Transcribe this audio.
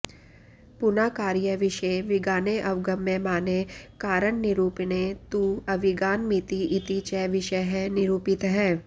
पुना कार्यविषये विगाने अवगम्यमाने कारणनिरूपणे तु अविगानमिति इति च विषयः निरूपितः